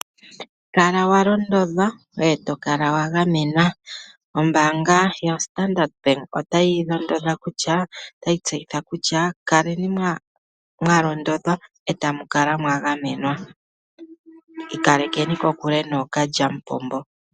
Kala walondodhwa ngoye tokala wagamenwa . Ombaanga yoStandard otayi londodha ano otayi tseyitha kutya kaleni mwa londodhwa etamu kala mwagamenwa, ikalekeni kokule nookalyamupombo.